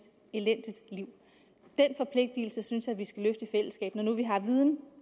elendigt liv den forpligtigelse synes jeg at vi skal løfte i fællesskab når nu vi har viden